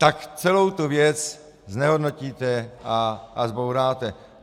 Tak celou tu věc znehodnotíte a zbouráte.